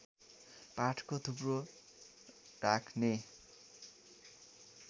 पाठको थुप्रो राख्ने